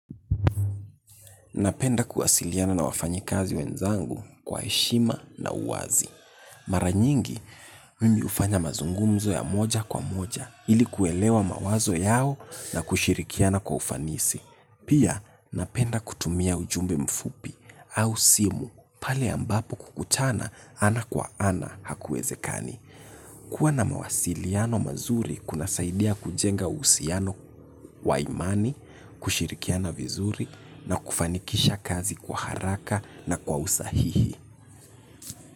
Napenda kuwasiliana na wafanyi kazi wenzangu kwa heshima na uwazi. Mara nyingi mimi hufanya mazungumzo ya moja kwa moja ilikuwelewa mawazo yao na kushirikiana kwa ufanisi. Pia napenda kutumia ujumbe mfupi au simu pale ambapo kukutana ana kwa ana hakuwezekani. Kua na mawasiliano mazuri kuna saidia kujenga uhusiano wa imani, kushirikiana vizuri na kufanikisha kazi kwa haraka na kwa usahihi.